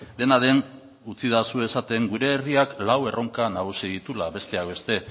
dena den utzidazu esaten gure herriak lau erronka nagusi dituela besteak beste